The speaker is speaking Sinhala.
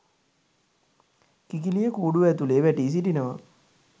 කිකිළිය කූඩුව ඇතුළේ වැටී සිටිනවා